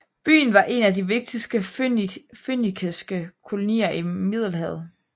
Byen var en af de vigtigste fønikiske kolonier i Middelhavet